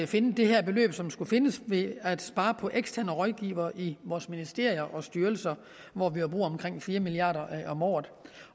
finde det her beløb som skulle findes ved at spare på eksterne rådgivere i vores ministerier og styrelser hvor vi jo bruger omkring fire milliard kroner om året